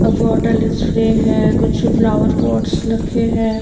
Bottles free है कुछ flower pots रखे है।